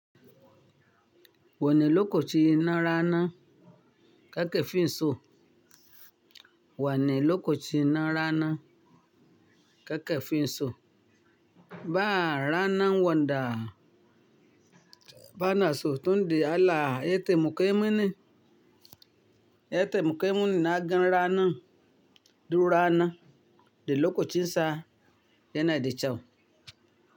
Wani lokacin na rana, kakafin so. Wane lokaci na rana, kakafin so. Ba rana wanda bana so tun da Allah ya taimaka mini. Ya taimaka mini na gan rana, duk rana, da lokacin sa yana da kyau.